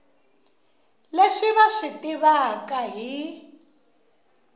leswi va swi tivaka hi